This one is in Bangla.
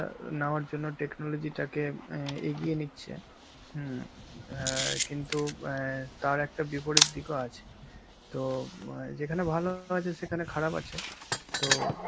নেওয়ার জন্য technology টাকে এ~ এগিয়ে নিচ্ছে, হম অ্যাঁ কিন্তু অ্যাঁ তার একটা বিপরীত দিকও আছে. তো বয়~ যেখানে ভালো আছে সেখানে খারাপ আছে, তো